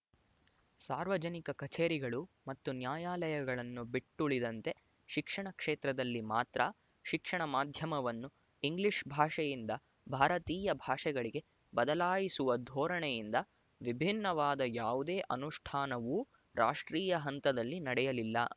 ಸಾರ್ವಜನಿಕ ಕಛೇರಿಗಳು ಮತ್ತು ನ್ಯಾಯಾಲಯಗಳನ್ನು ಬಿಟ್ಟುಳಿದಂತೆ ಶಿಕ್ಷಣ ಕ್ಷೇತ್ರದಲ್ಲಿ ಮಾತ್ರ ಶಿಕ್ಷಣ ಮಾಧ್ಯಮವನ್ನು ಇಂಗ್ಲಿಶ್ ಭಾಷೆಯಿಂದ ಭಾರತೀಯ ಭಾಷೆಗಳಿಗೆ ಬದಲಾಯಿಸುವ ಧೋರಣೆಯಿಂದ ವಿಭಿನ್ನವಾದ ಯಾವುದೇ ಅನುಷ್ಠಾನವೂ ರಾಷ್ಟ್ರೀಯ ಹಂತದಲ್ಲಿ ನಡೆಯಲಿಲ್ಲ